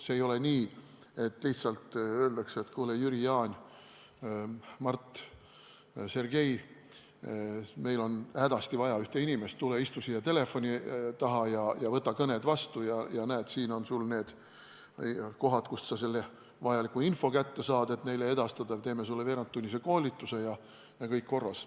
See ei ole lihtsalt nii, et öeldakse: kuule, Jüri, Jaan, Mart, Sergei, meil on hädasti vaja ühte inimest, tule istu siia telefoni taha ja võta kõned vastu – näed, siin on need kohad, kust sa saad kätte vajaliku info, mida neile edastada, teeme sulle veerandtunnise koolituse ja kõik on korras.